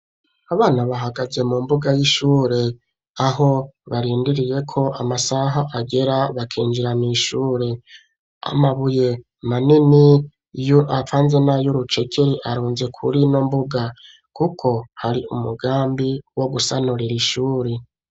Abana bahagaze mu mbuga y'ishure aho barindiriye ko amasaha agera bakinjira mw'ishure amabuye manini avanze nayu rucekeri arunze kurino mbuga kuko hari umugambi wo gusanura ishuri